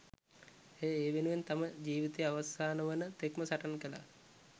ඇය ඒ වෙනුවෙන් තම ජිවිතයේ අවසාන වන තෙක්ම සටන් කළා.